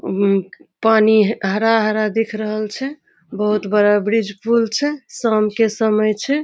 उम्म पानी ह हरा-हरा दिख रहल छै बहुत बड़ा ब्रिज पुल छै शाम के समय छै।